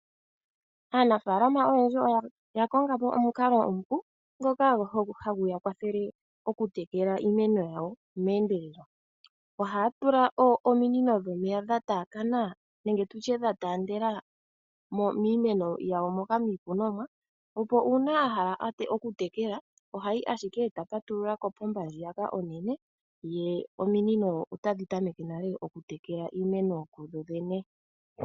Aanafalama oyendji oya konga po omukalo nomupu, ngoka hagu ya kwathele oku tekela iimeno yawo meendelelo. Ohaya tula ominino dhomeya dha taakana nenge tutye dha taandela miimeno yawo moka miikunonwa, opo uuna yahala oku tekela, ohayi ashike eta patulula kopomba ndjiyaka onene dho ominino otadhi tameke nale oku tekela iimeno kudho dhene.